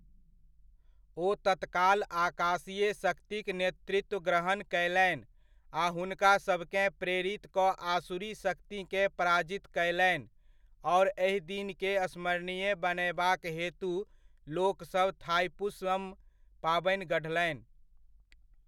ओ तत्काल आकाशीय शक्तिक नेतृत्व ग्रहण कयलनि आ हुनकासभकेँ प्रेरित कऽ आसुरी शक्तिकेँ पराजित कयलनि आओर एहिदिनकेँ स्मरणीय बनयबाक हेतु लोकसभ थाइपुसम पाबनि गढ़लनि।